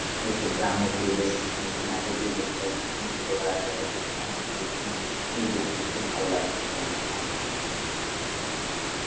এইতো গ্রাম্য পরিবেশ. অনেকদিন আগে তুই দেখে গেছিস, কোন ছোটবেলাতে হয়তো, তোকে অনেকদিন দেখিনি. তুই দেখবি খুব ভালো লাগলো তোর আমাদের গ্রামের .